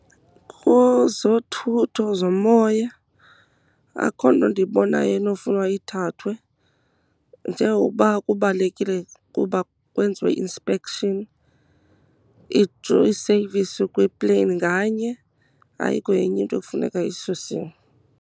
Kozothutho zomoya akukho nto ndiyibonayo enofunwa ithathwe, njengoba kubalulekile ukuba kwenziwe i-inspection, i-service kwepleyini nganye. Ayikho enye into ekufuneka isusiwe.